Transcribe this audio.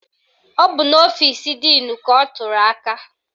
Ọ bụ n'ọfisi díìnu ka ọ tụrụ aka